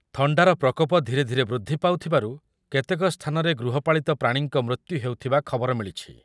ଥଣ୍ଡାର ପ୍ରକୋପ ଧୀରେ ଧୀରେ ବୃଦ୍ଧି ପାଉଥିବାରୁ କେତେକ ସ୍ଥାନରେ ଗୃହ ପାଳିତ ପ୍ରାଣୀଙ୍କ ମୃତ୍ୟୁ ହେଉଥିବା ଖବର ମିଳିଛି ।